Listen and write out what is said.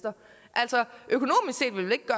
altså